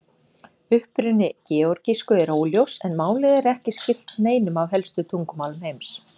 Uppruni georgísku er óljós en málið er ekki skylt neinum af helstu tungumálum heims.